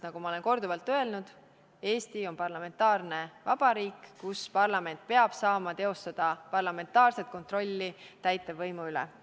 Nagu ma olen korduvalt öelnud: Eesti on parlamentaarne vabariik, kus parlament peab saama teostada parlamentaarset kontrolli täitevvõimu üle.